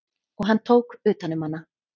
Og hann tók utan um hana.